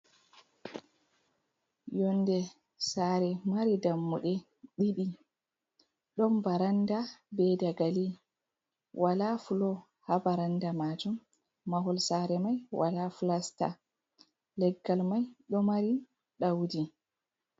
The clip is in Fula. Ÿonde sare mari dammuɗe didi, ɗon baranda be dagali wala fulo ha baranda majum mahol sare mai wala flasta leggal mai do mari daudi.